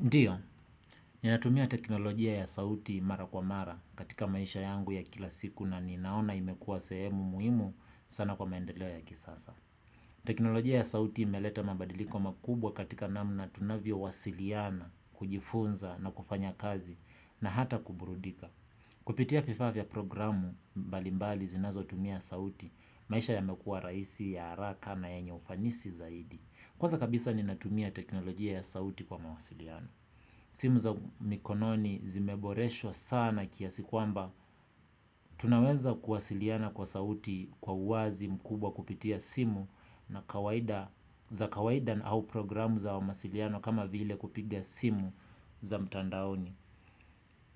Ndiyo, ninatumia teknolojia ya sauti mara kwa mara katika maisha yangu ya kila siku na ninaona imekuwa sehemu muhimu sana kwa maendeleo ya kisasa. Teknolojia ya sauti imeleta mabadiliko makubwa katika namna tunavyowasiliana, kujifunza na kufanya kazi na hata kuburudika. Kupitia vifaa vya programu mbalimbali zinazotumia sauti, maisha yamekuwa rahisi, ya haraka na yenye ufanisi zaidi. Kwanza kabisa ninatumia teknolojia ya sauti kwa mawasiliano. Simu za mikononi zimeboreshwa sana kiasi kwamba. Tunaweza kuwasiliana kwa sauti kwa uwazi mkubwa kupitia simu na kawaida, za kawaida na au programu za mawasiliano kama vile kupiga simu za mtandaoni.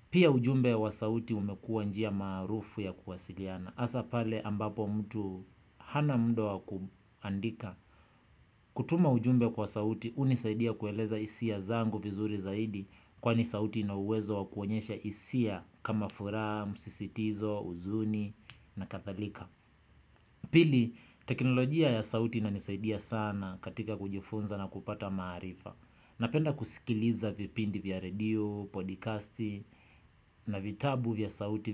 Pia ujumbe wa sauti umekuwa njia maarufu ya kuwasiliana. Hasa pale ambapo mtu hana muda wa kuandika. Kutuma ujumbe kwa sauti hunisaidia kueleza hisia zangu vizuri zaidi kwani sauti ina uwezo wa kuonyesha hisia kama furaha, msisitizo, huzuni na kathalika. Pili, teknolojia ya sauti inanisaidia sana katika kujifunza na kupata maarifa. Napenda kusikiliza vipindi vya radio, podcasti, na vitabu vya sauti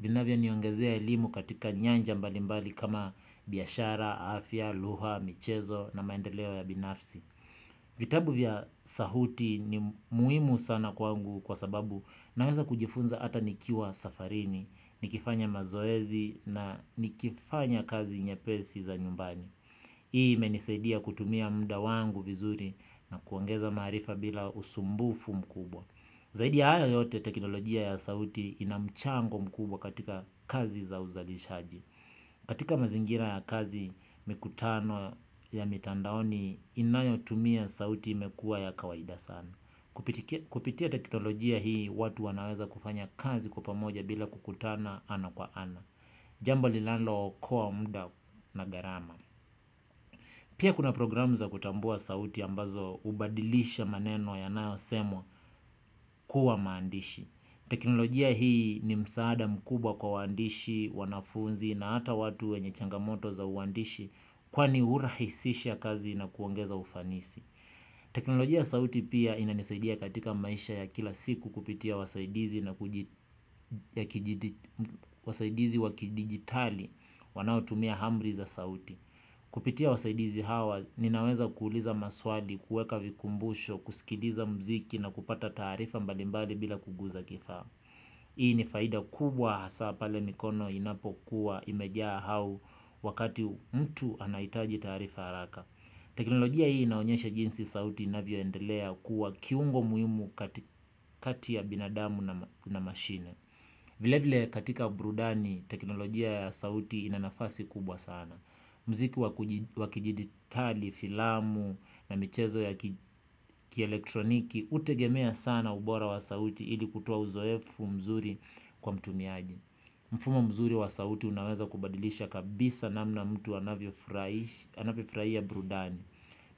vinavyoniongezea elimu katika nyanja mbalimbali kama biashara, afya, lugha, michezo na maendeleo ya binafsi. Vitabu vya sauti ni muhimu sana kwangu kwa sababu naweza kujifunza hata nikiwa safarini, nikifanya mazoezi na nikifanya kazi nyepesi za nyumbani. Hii imenisaidia kutumia mda wangu vizuri na kuongeza maarifa bila usumbufu mkubwa. Zaidi ya hayo yote teknolojia ya sauti ina mchango mkubwa katika kazi za uzalishaji. Katika mazingira ya kazi, mikutano ya mitandaoni inayotumia sauti imekuwa ya kawaida sana. Kupitia teknolojia hii watu wanaweza kufanya kazi kwa pamoja bila kukutana ana kwa ana. Jambo linalookoa mda na gharama. Pia kuna programu za kutambua sauti ambazo hubadilisha maneno yanayosemwa kuwa maandishi. Teknolojia hii ni msaada mkubwa kwa waandishi, wanafunzi na hata watu wenye changamoto za uandishi kwani hurahisisha kazi na kuongeza ufanisi. Teknolojia sauti pia inanisaidia katika maisha ya kila siku kupitia wasaidizi wa kidijitali wanaotumia amri za sauti. Kupitia wasaidizi hawa ninaweza kuuliza maswali, kuweka vikumbusho, kusikiliza mziki na kupata taarifa mbali mbali bila kuguza kifaa. Hii ni faida kubwa hasaa pale mikono inapokuwa imejaa au wakati mtu anahitaji taarifa haraka. Teknolojia hii inaonyesha jinsi sauti inavyoendelea kuwa kiungo muhimu kati ya binadamu na mashine. Vile vile katika burudani teknolojia ya sauti ina nafasi kubwa sana. Mziki wa kijiditali, filamu na michezo ya kielektroniki hutegemea sana ubora wa sauti ili kutoa uzoefu mzuri kwa mtumiaji. Mfumo mzuri wa sauti unaweza kubadilisha kabisa namna mtu anavyofurahia burudani.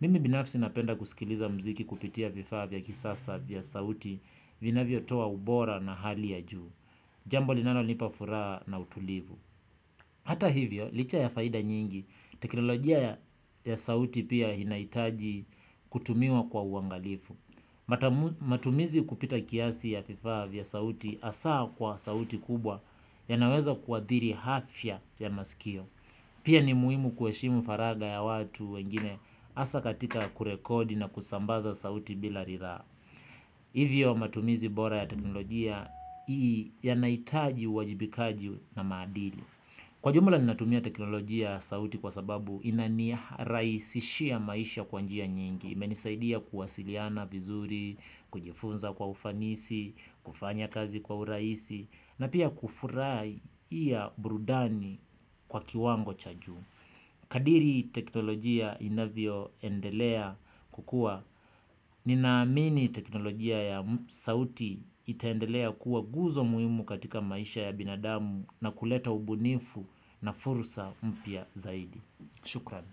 Mimi binafsi napenda kusikiliza mziki kupitia vifaa vya kisasa vya sauti vinavyotoa ubora na hali ya juu. Jambo linanonipa furaha na utulivu. Hata hivyo, licha ya faida nyingi, teknolojia ya sauti pia inahitaji kutumiwa kwa uangalifu. Matumizi kupita kiasi ya vifaa vya sauti hasaa kwa sauti kubwa yanaweza kuadhiri afya ya masikio. Pia ni muhimu kueshimu faraga ya watu wengine hasa katika kurekodi na kusambaza sauti bila riraa. Hivyo matumizi bora ya teknolojia ii yanahitaji uajibikaji na maadili. Kwa jumla ninatumia teknolojia sauti kwa sababu inanirahisishia maisha kwa njia nyingi. Imenisaidia kuwasiliana vizuri, kujifunza kwa ufanisi, kufanya kazi kwa urahisi na pia kufurahia burudani kwa kiwango cha juu. Kadiri teknolojia inavyoendelea kukua. Ninaamini teknolojia ya sauti itaendelea kuwa guzo muhimu katika maisha ya binadamu na kuleta ubunifu na fursa mpya zaidi. Shukran.